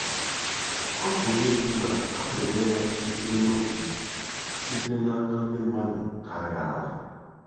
Ọ pụrụ ịbụ na arịrịọ ya sitere n'obi sitere n'aka ndị mmadụ karịa ala.